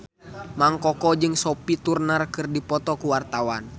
Mang Koko jeung Sophie Turner keur dipoto ku wartawan